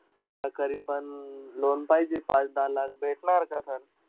मला करीएबन अं loan पाहिजे, पाच-दहा लाख भेटणार का sir?